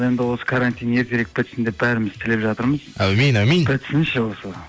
енді осы карантин ертерек бітсін деп бәріміз тілеп жатырмыз әумин әумин бітсінші осы